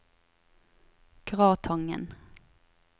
Gratangen